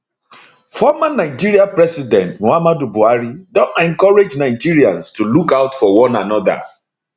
former nigeria president muhammadu buhari don encourage nigerians to look out for one anoda